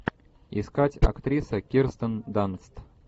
искать актриса кирстен данст